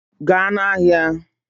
Gaa n'ahịa!